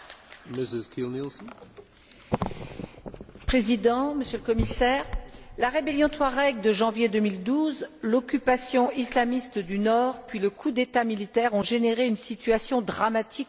Monsieur le Président, Monsieur le Commissaire, la rébellion touareg de janvier 2012, l'occupation islamiste du Nord, puis le coup d'État militaire ont généré une situation dramatique au Mali.